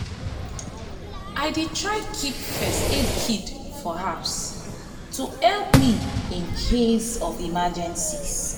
i dey keep first aid kit for house to help me in case of emergencies.